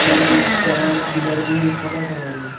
মন্দিরটার পিলার -গুলি সাদা কালার -এর।